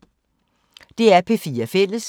DR P4 Fælles